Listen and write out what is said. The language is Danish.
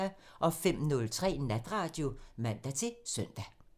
05:03: Natradio (man-søn)